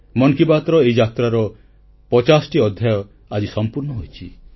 ମନ କି ବାତ୍ର ଏହି ଯାତ୍ରା ଆଜି 50ଟି ଅଧ୍ୟାୟ ସମ୍ପୂର୍ଣ୍ଣ ହୋଇଛି